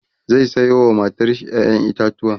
zai Sayo wa matar shi ƴaƴan itatauwa